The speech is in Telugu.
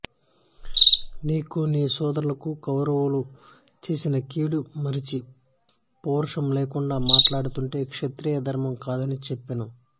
నీకు నీ సోదరులకు కౌరవులు చేసిన కీడు మరచి పౌరుషం లేకుండా మాట్లాడుతుంటే క్షత్రియ ధర్మం కాదని చెప్పాను